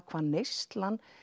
hvað neyslan